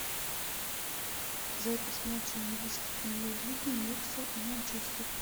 запись матча английской премьер лиги ньюкасл и манчестер